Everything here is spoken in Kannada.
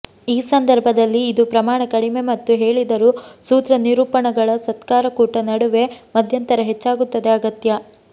ಈ ಸಂದರ್ಭದಲ್ಲಿ ಇದು ಪ್ರಮಾಣ ಕಡಿಮೆ ಮತ್ತು ಹೇಳಿದರು ಸೂತ್ರನಿರೂಪಣಗಳ ಸತ್ಕಾರಕೂಟ ನಡುವೆ ಮಧ್ಯಂತರ ಹೆಚ್ಚಾಗುತ್ತದೆ ಅಗತ್ಯ